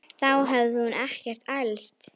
Þá hafði hún ekkert elst.